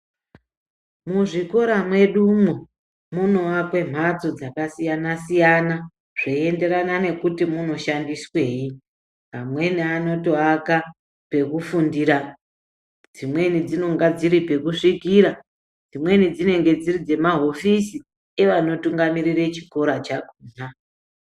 Muzvikora mwedumwo munoakwe mhatso dzakasiyana siyana zveienderana nekuti munoshandiswei amweni anotoaka pekufundira dzimweni dzinonga dziri pekusvikira dzimweni dzinonga dziri dzemahofisi evanotungamirire chikora chakhona.